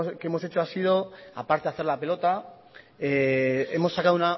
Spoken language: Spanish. que hemos hecho ha sido a parte de hacer la pelota hemos sacado